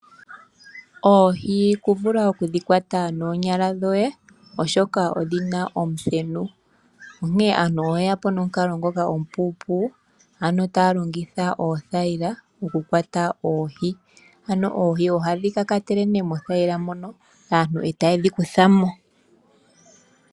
Oohi kuvula okudhikwata noonyala dhoye oshoka odhina omuthenu. Aantu oyeya po nomukalo ngoka omupu ano taya longitha othayila okukwata oohi ano oohi ohadhi kakatele nduno mothayila moka aantu ee tayedhi kuthamo.